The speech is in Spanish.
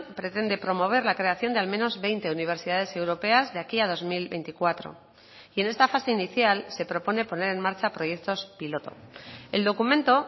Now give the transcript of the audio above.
pretende promover la creación de al menos veinte universidades europeas de aquí a dos mil veinticuatro y en esta fase inicial se propone poner en marcha proyectos piloto el documento